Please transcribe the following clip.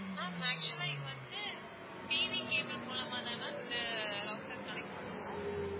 ma'am actual ஆ இது வந்து TV cable மூலமா தான் ma'am இந்த router connect பண்ணுவோம்.